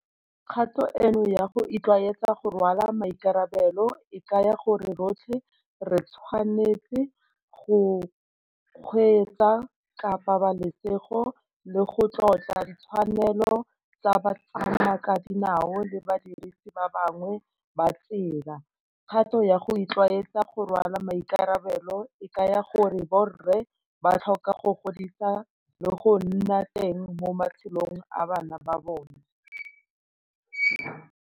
Kgato eno ya go itlwaetsa go rwalwa maikarabelo e kaya gore rotlhe re tshwanetse go kgweetsa ka pabalesego le go tlotla ditshwanelo tsa batsamaakadinao le badirisi ba bangwe ba tsela. Kgato ya go itlwaetsa go rwala maikarabelo e kaya gore borre ba tlhoka go godisa le go nna teng mo matshelong a bana ba bona.